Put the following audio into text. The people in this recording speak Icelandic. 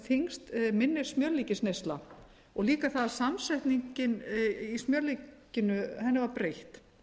þyngst minni smjörlíkisneysla og fita það að samsetningunni í smjörlíkinu var breytt